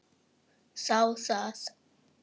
Þá það.